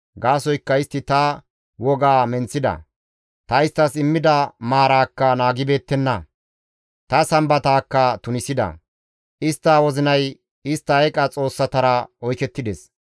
Gaasoykka istti ta wogaa menththida; ta isttas immida maaraakka naagibeettenna; ta Sambataakka tunisida; istta wozinay istta eeqa xoossatara oykettides.